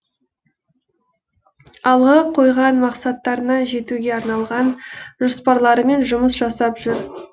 алға қойған мақсаттарына жетуге арналған жоспарларымен жұмыс жасап жүр